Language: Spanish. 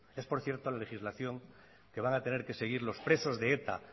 es por cierto la legislación que van a tener que seguir los presos de eta